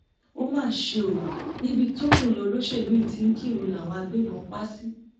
ó mà ṣe ọ níbi tọkùnrin olóṣèlú yìí ti ń kírun làwọn agbébọn pa á sí